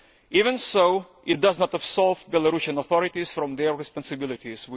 Even so, it does not absolve Belarusian authorities from their responsibilities.